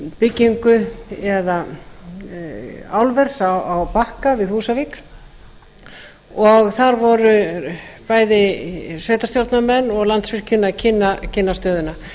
byggingu álvers á bakka við húsavík og þar voru bæði sveitarstjórnarmenn og landsvirkjun að kynna stöðuna